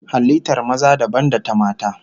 Halittar maza dabam da ta mata